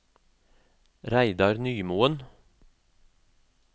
Reidar Nymoen